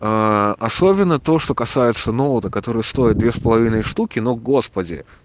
особенно то что касается ноута которые стоит две с половиной штуки но господи